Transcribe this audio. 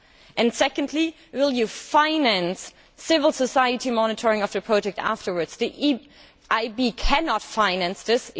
And secondly, will you finance civil society monitoring of the project afterwards? The EIB cannot finance this.